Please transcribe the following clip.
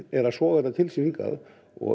er að soga þetta til sín hingað